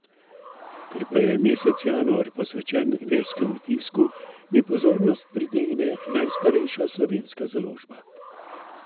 Ker pa je mesec januar posvečen verskemu tisku, mi pozornost pritegne najstarejša slovenska založba.